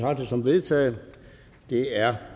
jeg det som vedtaget det er